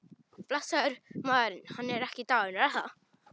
Blessaður maðurinn, hann er ekki dáinn er það?